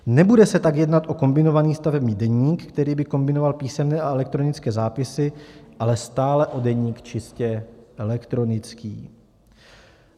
Nebude se tak jednat o kombinovaný stavební deník, který by kombinoval písemné a elektronické zápisy, ale stále o deník čistě elektronický.